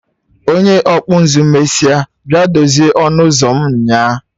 Onye ọkpụ nzụ mesịa bịa dozie ọnụ ụzọ m nyaa